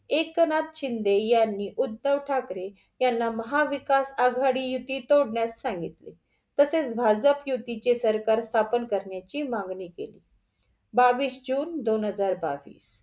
एकनाथ शिंदे यांनी उद्धव ठाकरे यांना महाविकास आघाडी युती तोडण्यास सांगितले तसेच भाजप युतीचे सरकार स्थापन करण्याची मागणी केली. बावीस जून दोन हजार बावीस.